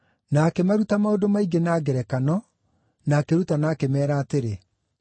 Na akĩmaruta maũndũ maingĩ na ngerekano, na akĩrutana akĩmeera atĩrĩ,